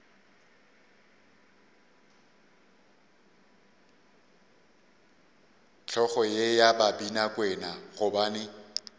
hlogo ye ya babinakwena gobane